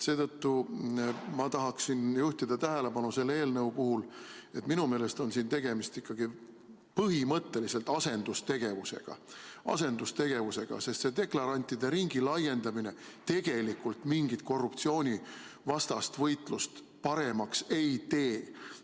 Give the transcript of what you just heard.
Seetõttu tahaksin ma selle eelnõu puhul juhtida tähelepanu sellele, et minu meelest on tegemist põhimõtteliselt asendustegevusega – asendustegevusega, sest deklarantide ringi laiendamine tegelikult mingit korruptsioonivastast võitlust paremaks ei tee.